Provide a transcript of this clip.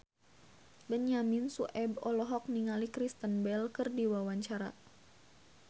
Benyamin Sueb olohok ningali Kristen Bell keur diwawancara